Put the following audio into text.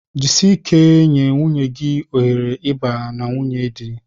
Jisie ike nye nwunye gị ohere ịba na nwunye di